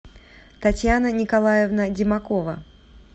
татьяна николаевна демакова